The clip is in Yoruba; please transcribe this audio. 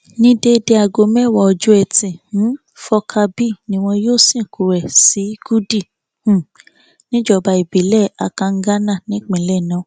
ní déédéé aago mẹwàá ọjọ etí um furcabee ni wọn yóò sìnkú rẹ sí gúdí um níjọba ìbílẹ akanganá nípínjlẹ náà